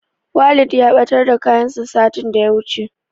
Walid ya ɓatar da kayansa satin da ya wuce.